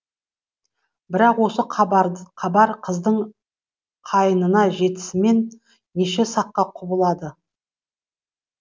бірақ осы хабар қыздың қайнына жетісімен неше саққа құбылады